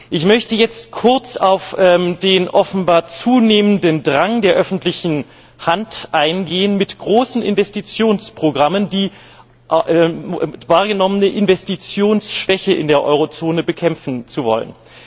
Ich möchte jetzt kurz auf den offenbar zunehmenden Drang der öffentlichen Hand eingehen, mit großen Investitionsprogrammen die wahrgenommene Investitionsschwäche in der Eurozone bekämpfen zu wollen.